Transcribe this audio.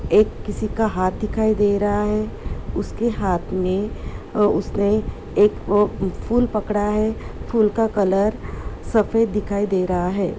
एक किसी का हाथ दिखाई दे रहा है उसके हाथ मे अ उसने एक वो फूल पकड़ा है फूल का कलर सफेद दिखाई दे रहा है।